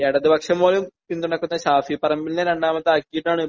എടതുപക്ഷം പോലും പിന്തുണയ്ക്കുന്ന ഷാഫി പറമ്പിലിനെ രണ്ടാമതാക്കിയിട്ടാണ്